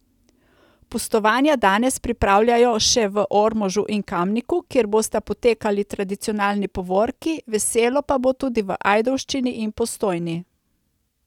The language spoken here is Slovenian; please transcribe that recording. Pustovanja danes pripravljajo še v Ormožu in Kamniku, kjer bosta potekali tradicionalni povorki, veselo pa bo tudi v Ajdovščini in Postojni.